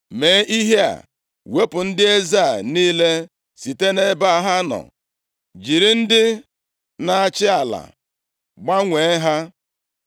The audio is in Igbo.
Mee ihe a, wepụ ndị eze a niile site nʼebe ha nọ, jiri ndị na-achị ala gbanwee ha.